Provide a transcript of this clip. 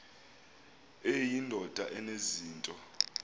eyi ndoda enezinto